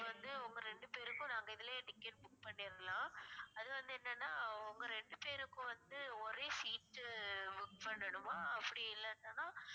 இப்ப வந்து உங்க ரெண்டு பேருக்கும் நாங்க இதுலையே ticket book பண்ணிறலாம் அது வந்து என்னன்னா உங்க ரெண்டு பேருக்கும் வந்து ஒரே seat book பண்ணணுமா அப்படி இல்லாட்டான்னா